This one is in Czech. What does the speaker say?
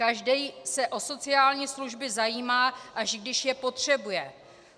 Každý se o sociální služby zajímá, až když je potřebuje.